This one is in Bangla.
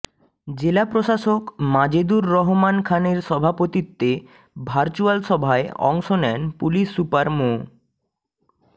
জেলা প্রশাসক মাজেদুর রহমান খানের সভাপতিত্বে ভার্চুয়াল সভায় অংশ নেন পুলিশ সুপার মো